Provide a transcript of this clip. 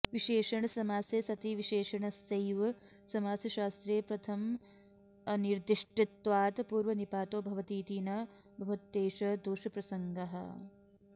विशेषणसमासे सति विशेषणस्यैव समासशास्त्रे प्रथमानिर्दिष्टत्वात् पूर्वनिपातो भवतीति न भवत्येष दोषप्रसङ्ग